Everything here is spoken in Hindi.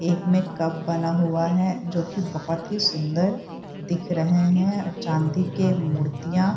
एक में कप बना हुआ है जो की बहुत ही सुंदर दिख रहे हैं और चांदी के मूर्तियाँ --